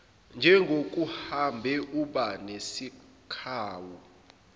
njengokuhambe uba nesikhawu